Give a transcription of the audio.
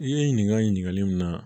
I ye ɲininkali min na